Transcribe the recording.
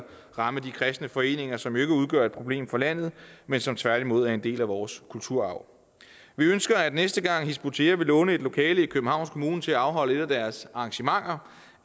ramme de kristne foreninger som jo ikke udgør et problem for landet men som tværtimod er en del af vores kulturarv vi ønsker at næste gang hizb ut tahrir vil låne et lokale af københavns kommune til at afholde et af deres arrangementer